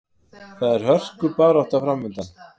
Það er hörkubarátta framundan.